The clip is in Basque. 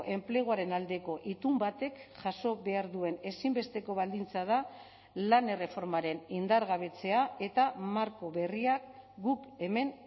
enpleguaren aldeko itun batek jaso behar duen ezinbesteko baldintza da lan erreformaren indargabetzea eta marko berriak guk hemen